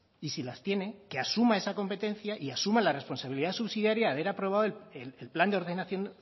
y si las tiene que asuma esa competencia y asuma la responsabilidad subsidiaria de haber aprobado el plan de ordenación